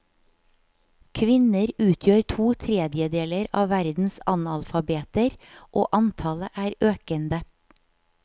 Kvinner utgjør to tredjedeler av verdens analfabeter, og antallet er økende.